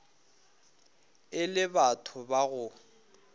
e le batho ba go